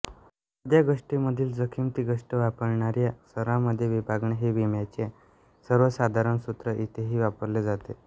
एखाद्या गोष्टीमधील जोखीम ती गोष्ट वापरणाऱ्या सर्वांमध्ये विभागणे हे विम्याचे सर्वसाधारण सूत्र इथेही वापरले जाते